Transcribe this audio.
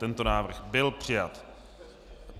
Tento návrh byl přijat.